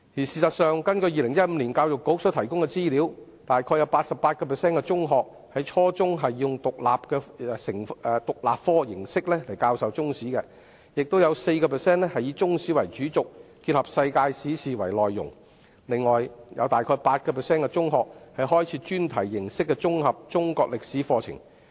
事實上，根據2015年教育局所提供的資料，大約有 88% 的中學在初中是以獨立科形式來教授中史；亦有 4% 以中史為主軸，結合世界史事件為內容；另外，大約有 8% 的中學開設專題形式的綜合中國歷史課程。